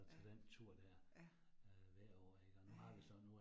Ja, ja, ja ja